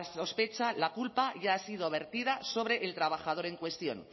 sospecha la culpa ya ha sido vertida sobre el trabajador en cuestión